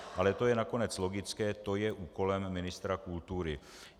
Ale to je nakonec logické, to je úkolem ministra kultury.